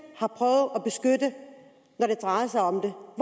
har det drejede sig om